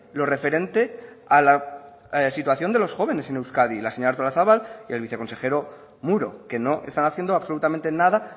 lo referente a la situación de los jóvenes en euskadi la señora artolazabal y el viceconsejero muro que no están haciendo absolutamente nada